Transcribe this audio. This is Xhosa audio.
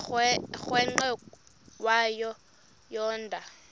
umrweqe wayo yoonda